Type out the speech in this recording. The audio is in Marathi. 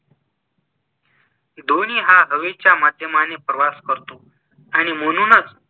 ध्‍वनि हा हवेच्‍या माध्‍यमाने प्रवास करतो आणि म्हणूनच